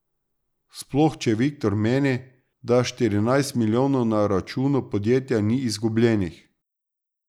Sploh če Viktor meni, da štirinajst milijonov na računu podjetja ni izgubljenih.